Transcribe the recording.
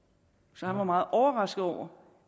så han var meget overrasket over